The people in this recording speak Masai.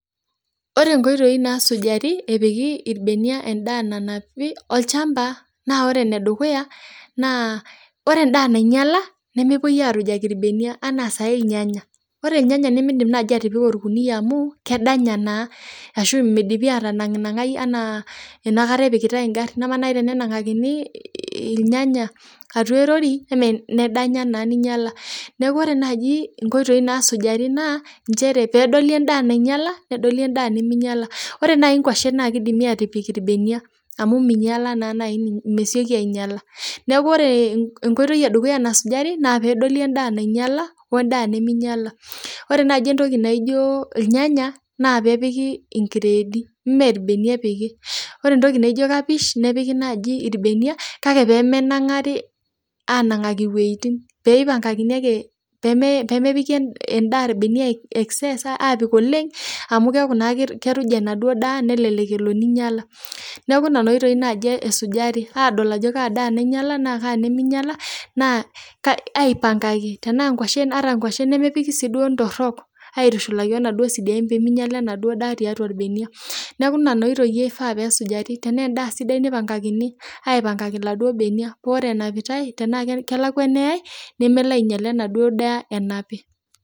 Ore inkoitoi naasujari epiki irbeniak endaa nanapi olchamba naa ore ene dukuya naa ore endaa nainyala nemepuoi aarujaki irbenia anaa saai irnyanya. Ore irnyanya nemiindim naaji atipika orkunia amu kedanya naa ashu midipi atanang'nang'ai anaa enakata epikitai ing'ari, ama nai tenenang'akini irnyanya atua erori emee nedanya naa ninyala. Neeku ore naaji inkoitoi naasujari naa nchere peedoli endaa nainyala, nedoli endaa neminyala. Ore nai nkwashen naake idimi aatipik irbeniak amu minyala naa nai ni mesioki ainyala, neeku ore enkoitoi e dukuya nasujari naa peedoli endaa nainyala we ndaa neminyala. Ore naji entoki naijo irnyanya naa peepiki inkredi mee irbenia epiki, ore entoki naijo kapish nepiki naaji irbeniak kake pee menang'ari aanang'aki iwueitin pee ipang'akakini ake pee mee pee mepiki endaa irbeniak excess aapik oleng' amu keeku naa ke keruja enaduo daa nelelek elo ninyala. Neeeku nena oitoi naaji esujari aadol ajo kaa da nainyala naa kaa neminyala naa ka aipang'aki tenaa nkwashen ata nkwashen nemepiki sii duo ntorok aitushulaki wo naduo sidain pee minyala enaduo daa tiatua irbeniak . Neeku nena oitoi ifaa peesujari, tenaa endaa sidai nipang'akini aipang'akaki iladuo beniak ore enapitai tenaake kelakua eneyai nemelo ainyala enaduo daa enapi.